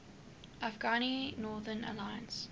afghan northern alliance